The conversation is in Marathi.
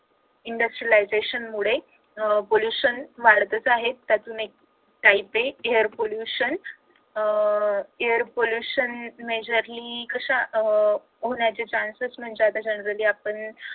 industrialization मुळे अह pollution वाढतच आहे त्यातून एक काय ते air pollution अह air pollution is majorly कशा होण्याचे chances म्हणजे generally आपण